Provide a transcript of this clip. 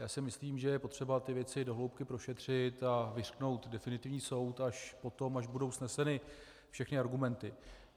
Já si myslím, že je potřeba věci do hloubky prošetřit a vyřknout definitivní soud až potom, až budou sneseny všechny argumenty.